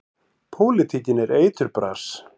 Pólitíkin er eiturbras.